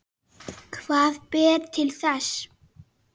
Hvað ber til þess?